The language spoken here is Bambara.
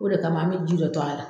O de kama an bɛ ji dɔ to a la.